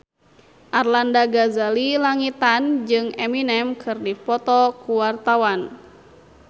Arlanda Ghazali Langitan jeung Eminem keur dipoto ku wartawan